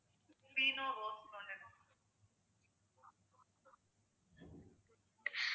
அப்புறம்